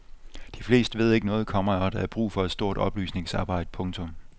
De fleste ved ikke noget, komma og der er brug for et stort oplysningsarbejde. punktum